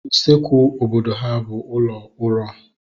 Usekwu obodo ha bụ ụlọ uro